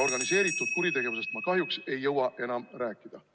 Organiseeritud kuritegevusest ma kahjuks ei jõua enam rääkida.